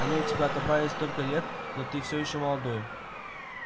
они у тебя отобрали столько лет но ты все ещё молодой